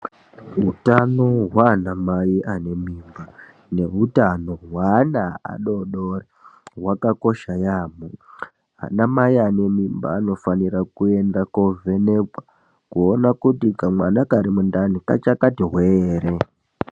Hutano hwanamai ane mimba nehutano hweana adodori hwakakosha yampho anamai ane mimba anofanira muenda kovhenekwa kuona kuti kamwana kari mundani kachakati hwee ere.